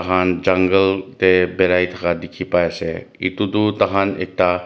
tiakhan jungle te berai thaka dekhi pai ase etu tu tai khan ekta.